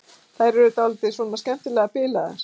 Þær eru dálítið svona skemmtilega bilaðar.